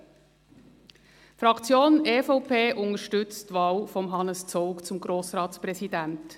Die Fraktion EVP unterstützt die Wahl von Hannes Zaugg zum Grossratspräsidenten.